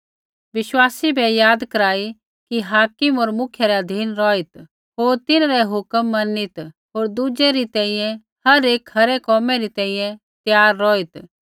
विश्वासी बै याद कराई कि हाकिम होर मुखिया रै अधीन रौहित् होर तिन्हैं रै हुक्म मनीत होर दुजै रै तैंईंयैं हर एक खरै कोमै री तैंईंयैं त्यार रौहित्